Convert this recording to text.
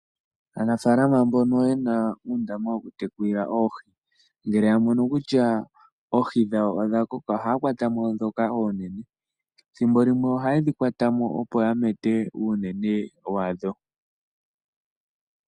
Aanafaalama mbono yena uundama wokutekulila oohi ngele yamono kutya oohi dhawo odha koka ohaya kwatamo ndhoka oonene. Ethimbo limwe ohayedhi kwatamo opo yamete uunene wadho.